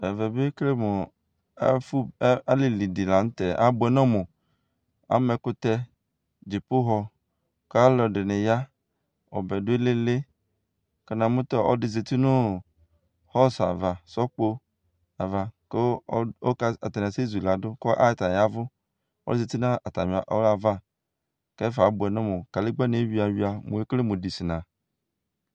Ɛvɛ bi ekele mʋ ɔ ɛfʋ ɔ, alili di la nʋ tɛ, abuɛ nɔmʋ Ama ɛkʋtɛ, dzipohɔ kʋ alʋ ɛdini ya Ɔbɛ dʋ ilili kʋ namʋ ta ɔlɔdi zati nʋ ɔ hɔsʋ ava, sɔkpo ava kʋ ɔkʋ atani asɛ zu yi ladu kʋ atani yavu, ɔlɔdi zati nʋ atami ava kʋ ɛfɛ abʋɛ nɔmʋ Kadigba ni eyuia yuia; mʋ ekele mʋ idisena